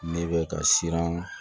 Ne bɛ ka siran